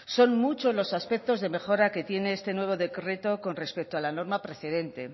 son muchos los aspectos de mejora que tiene este nuevo decreto con respecto a la norma precedentes